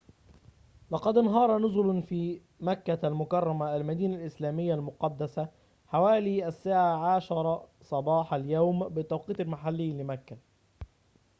لقد انهار نُزلٌ في مكة المكرّمة المدينة الإسلامية المقدّسة حوالي الساعة 10 صباح اليوم بالتوقيت المحلي لمكة